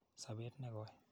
Sopet ne koi.